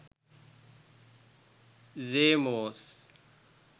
seomoz